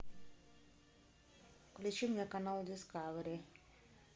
включи мне канал дискавери